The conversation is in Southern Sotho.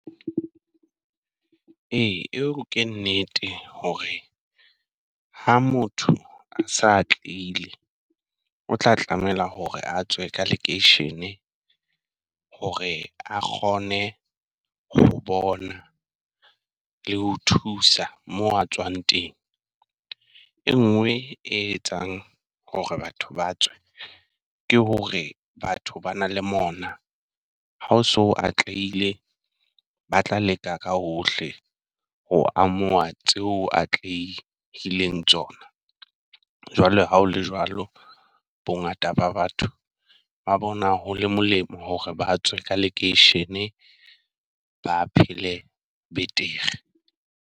Ee eo ke nnete hore ha motho a sa atleile, o tla tlamela hore a tswe ka lekeishene. Hore a kgone ho bona, le ho thusa mo a tswang teng. E nngwe e etsang hore batho ba tswe ke hore batho ba na le mona ha o so atlehile, ba tla leka ka hohle ho o amoha tseo atlehileng tsona. Jwale ha o le jwalo. Bongata ba batho ba bona ho le molemo hore ba tswe ka lekeishene ba phele betere.